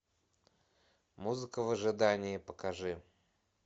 музыка в ожидании покажи